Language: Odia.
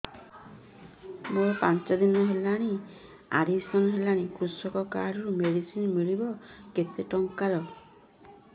ମୁ ପାଞ୍ଚ ଦିନ ହେଲାଣି ଆଡ୍ମିଶନ ହେଲିଣି କୃଷକ କାର୍ଡ ରୁ ମେଡିସିନ ମିଳିବ କେତେ ଟଙ୍କାର